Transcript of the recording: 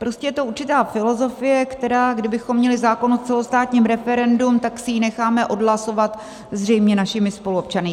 Prostě je to určitá filozofie, která kdybychom měli zákon o celostátním referendu, tak si ji necháme odhlasovat zřejmě našimi spoluobčany.